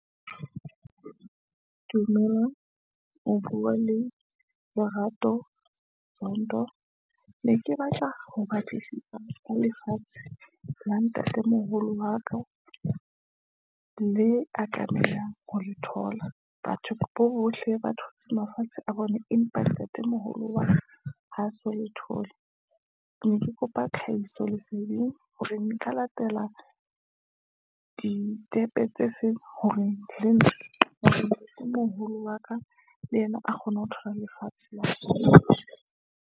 Dumelang, o bua le Lerato Zondo, ne ke batla ho batlisisa ho lefatshe la ntatemoholo wa ka, leo a tlameha ho le thola. Batho bohle ba thotse mafatshe a bone, empa ntatemoholo wa ka, ha so le thole, ke ne kopa tlhahiso leseding hore nka latela ditepe tse feng hore le ntatemoholo wa ka le yena a kgone ho thola lefatshe la .